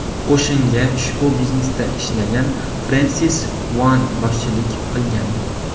Qo‘shinga ushbu biznesda ishlagan Frensis One boshchilik qilgan.